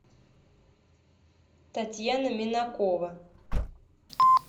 татьяна минакова